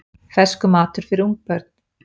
Ferskur matur fyrir ungbörn